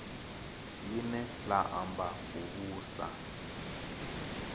line la amba u vhusa